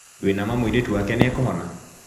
Wĩna ma mũirĩtu wake nĩekũhona ?